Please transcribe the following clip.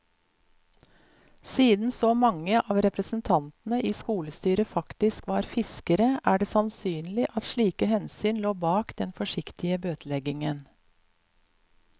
Siden så mange av representantene i skolestyret faktisk var fiskere, er det sannsynlig at slike hensyn lå bak den forsiktige bøteleggingen.